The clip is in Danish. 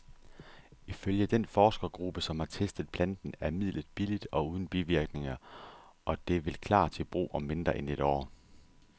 Ifølge den forskergruppe, som har testet planten, er midlet billigt og uden bivirkninger, og det vil klar til brug om mindre end et år.